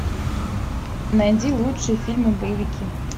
найди лучшие фильмы боевики